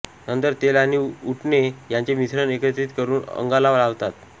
नंतर तेल आणि उटणे यांचे मिश्रण एकत्रित करून अंगाला लावतात